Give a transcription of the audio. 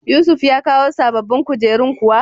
Yusuf ya kawo sababbin kujerun kuwa?